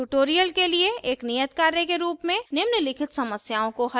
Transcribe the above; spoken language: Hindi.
इस tutorial के लिए एक नियत कार्य के रूप में निम्नलिखित समस्याओं को हल करें